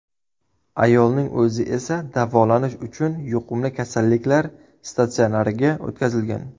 Ayolning o‘zi esa davolanish uchun yuqumli kasalliklar statsionariga o‘tkazilgan.